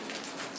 Yeyək.